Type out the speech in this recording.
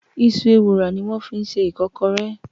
Iṣu Ewùrà ni wọ́n fi ṣe Ìkọ́kọrẹ́